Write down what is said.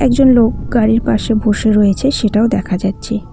একজন লোক গাড়ির পাশে বসে রয়েছে সেটাও দেখা যাচ্ছে।